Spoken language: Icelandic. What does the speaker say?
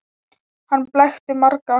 Hann blekkti marga.